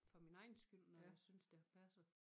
For min egen skyld når jeg synes det har passet